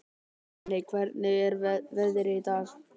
Runi, hvernig er veðrið í dag?